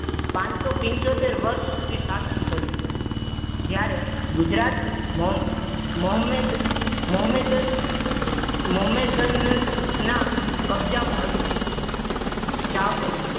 પાંચસો પંચોતેર વર્ષ સુધી શાસન કર્યું. જ્યારે ગુજરાત મોહ મોહમેદ મોહમેદ મોહમેદ ન ના કબજામાં હતું. ચાવુર